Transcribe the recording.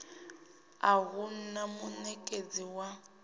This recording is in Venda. a hu na munekedzi wa